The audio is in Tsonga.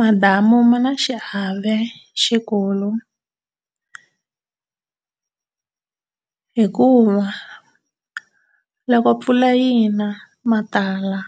Madamu ma na xiave xikulu hikuva loko mpfula yina ma tala